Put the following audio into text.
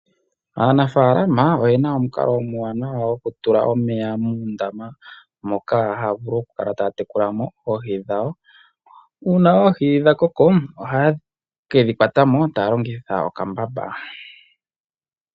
Aanafaalama oyena omukalo omuwanawa wokutula omeya muundama moka haa vulu okukala taya tekulamo oohi dhawo. Uuna oohi dha koko, ohaye kedhi kwatamo taya longitha okambamba.